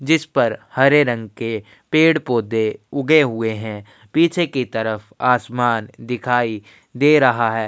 जिस पर हरे रंग के पेड़-पौधे उगे हुए हैं। पीछे की तरफ आसमान दिखाई दे रहा है।